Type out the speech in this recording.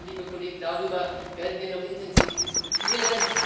Liebe Kolleginnen, liebe Kollegen, darüber werden wir noch intensiv diskutieren.